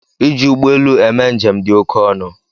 Iji ụgbọelu eme njem dị oke ọnụ.